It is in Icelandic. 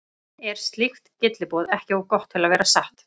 Er slíkt gylliboð ekki of gott til að vera satt?